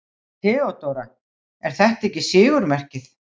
THEODÓRA: Er þetta ekki sigurmerkið?